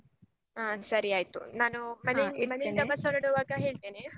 ಅಹ್ ಸರಿ ಆಯ್ತು ನಾನು ಮನೆಯಿಂದ ಮನೆಯಿಂದ bus ಹೊರಡುವಾಗ ಹೇಳ್ತೇನೆ.